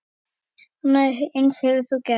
Annað eins hefur hún gert.